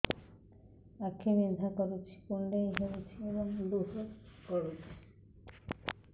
ଆଖି ବିନ୍ଧା କରୁଛି କୁଣ୍ଡେଇ ହେଉଛି ଏବଂ ଲୁହ ଗଳୁଛି